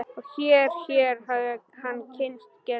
Og hér hér hafði hann kysst Gerði.